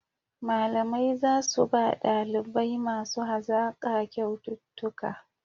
Malamai za su ba ɗalibai masu hazaƙa kyaututtuka